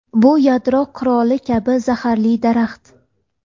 Bu yadro quroli kabi zaharli daraxt.